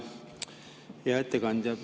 Hea ettekandja!